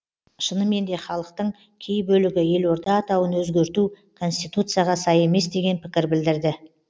шынымен де халықтың кей бөлігі елорда атауын өзгерту конституцияға сай емес деген пікір білдірді